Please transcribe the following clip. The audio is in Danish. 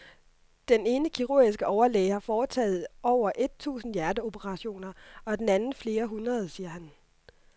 Den ene kirurgiske overlæge har foretaget over et tusind hjerteoperationer og den anden flere hundrede, siger han.